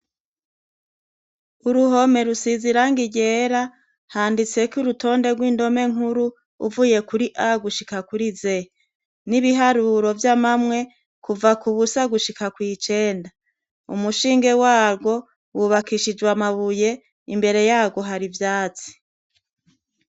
Uruhome rusize irangi ryera, handitseko urutonde rw'indome nkuru, uvuye kuri A gushika kuri Z. N'ibiharuro vy'amamwe, kuva ku busa gushika kw'icenda. Umushinge warwo, wobakishijwe amabuye, imbere yarwo hari ivyatsi.